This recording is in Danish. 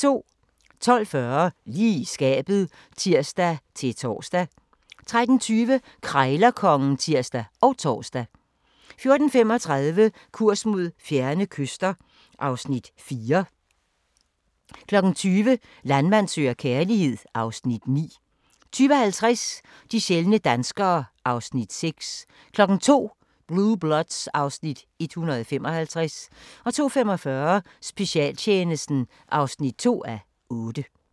12:40: Lige i skabet (tir-tor) 13:20: Krejlerkongen (tir og tor) 14:35: Kurs mod fjerne kyster (Afs. 4) 20:00: Landmand søger kærlighed (Afs. 9) 20:50: De sjældne danskere (Afs. 6) 02:00: Blue Bloods (Afs. 155) 02:45: Specialtjenesten (2:8)